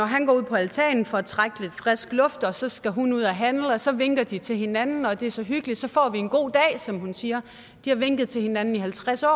han går ud på altanen for at trække lidt frisk luft og så skal hun ud at handle og så vinker de til hinanden og det er så hyggeligt og så får vi en god dag som hun siger de har vinket til hinanden i halvtreds år